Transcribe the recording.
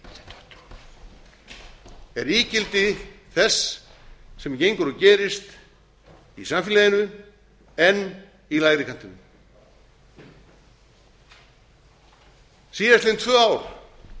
rætt um er ígildi þess sem gengur og gerist í samfélaginu en í lægri kantinum síðastliðin tvö ár